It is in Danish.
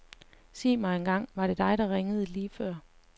Sig mig engang, var det dig, der ringede lige før.